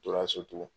Tora so tugun